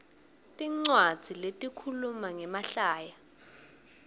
tincwadzi letikhuluma ngemahlaya